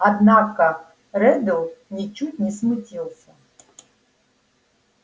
однако реддл ничуть не смутился